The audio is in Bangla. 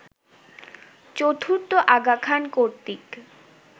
চতুর্থ আগা খান কর্তৃক